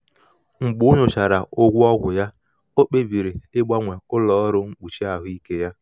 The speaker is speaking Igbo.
mgbe o nyochachara ụgwọ ọgwụ ya ọ kpebiri ịgbanwe ụlọ ọrụ mkpuchi ahụike ya.